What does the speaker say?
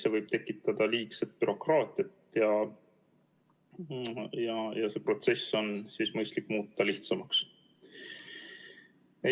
See võib tekitada liigset bürokraatiat ja see protsess on mõistlik lihtsamaks muuta.